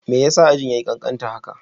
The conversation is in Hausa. Me yasa ajin yayi kankanta haka?